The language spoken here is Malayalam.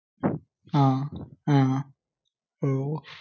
ഹാഹാ.